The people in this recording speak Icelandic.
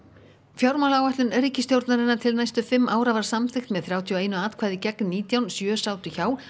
fjármálaáætlun ríkisstjórnarinnar til næstu fimm ára var samþykkt með þrjátíu og eitt atkvæði gegn nítján sjö sátu hjá